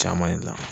Caman na